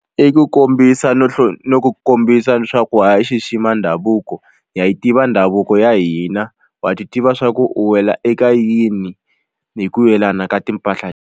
I ku kombisa no no ku kombisa swa ku ha xixima ndhavuko ha yi tiva ndhavuko ya hina wa ti tiva swa ku u wela eka yini hi ku yelana ka timpahla.